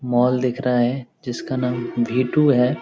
mall दिख रहा है जिसका नाम भी टू है |